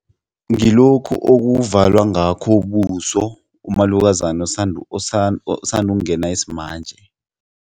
Ngilokhu okuvalwa ngakho ubuso umalukazana osanda ukungena isimanje.